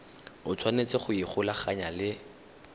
o tshwanetse go ikgolaganya le